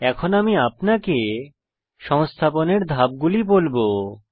এখন আমি আপনাকে সংস্থাপনের ধাপগুলি বলবো